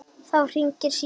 Þá hringir síminn.